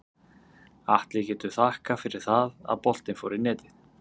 Atli getur þakkað fyrir það að boltinn fór í netið.